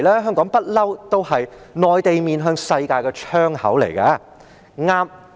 香港一向是內地面向世界的窗口。